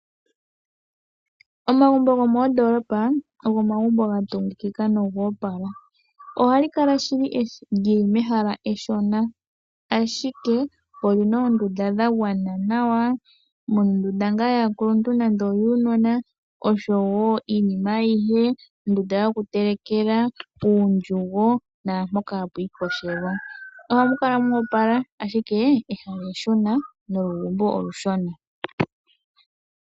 Omagumbo gomoondolopa ogo omagumbo ga tungikika nogo opala ohali kala shili lyili mehala eshona ashika olina oondunda dha gwana nawa muna ngaa ondunda yaa kuluntu noyuunona oshowo iinima ayihe ondunda yokutelekela uundjugo naampoka hapu ikoshelwa ohamu kala mo opala ashike ehala eshona nolugumbo olushona.